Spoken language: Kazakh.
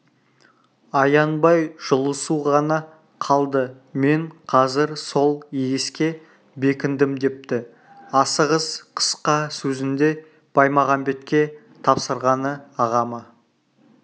аянбай жұлысу ғана қалды мен қазір сол егеске бекіндім депті асығыс қысқа сөзінде баймағамбетке тапсырғаны ағама